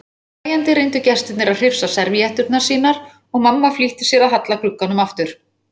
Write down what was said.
Hlæjandi reyndu gestirnir að hrifsa servíetturnar sínar og mamma flýtti sér að halla glugganum aftur.